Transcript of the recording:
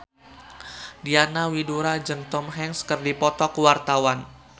Diana Widoera jeung Tom Hanks keur dipoto ku wartawan